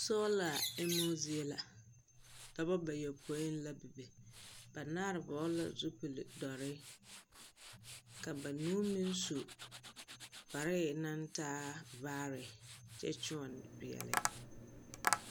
Sola emmo zie la. Dɔbɔ bayopõi la bebe. Banaare vɔgele la zupil doɔre ka banuu meŋ su kparre naŋtaa vaare kyɛ kyoɔne peɛle.